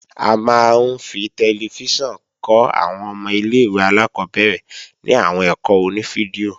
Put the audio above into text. A máa ń fi tẹlifíṣàn kọ́ àwọn ọmọ ilé-ìwé alákọ́bẹ̀rẹ̀ ní àwọn ẹ̀kọ́ oní fídíò